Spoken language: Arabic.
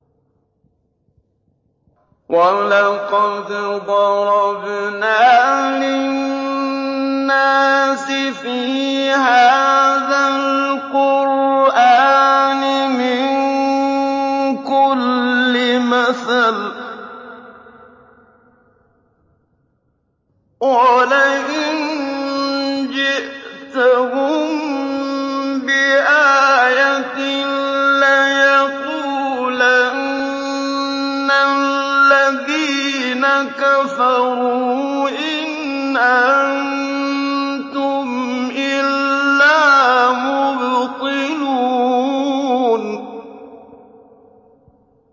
وَلَقَدْ ضَرَبْنَا لِلنَّاسِ فِي هَٰذَا الْقُرْآنِ مِن كُلِّ مَثَلٍ ۚ وَلَئِن جِئْتَهُم بِآيَةٍ لَّيَقُولَنَّ الَّذِينَ كَفَرُوا إِنْ أَنتُمْ إِلَّا مُبْطِلُونَ